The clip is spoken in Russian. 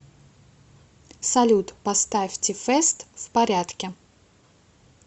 салют поставь ти фест в порядке